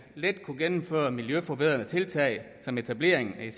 let kunne gennemføre miljøforbedrende tiltag som etablering af